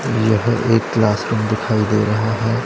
यह एक classroom दिखाई दे रहा है।